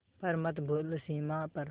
पर मत भूलो सीमा पर